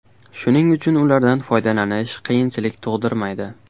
Shuning uchun ulardan foydalanish qiyinchilik tug‘dirmaydi.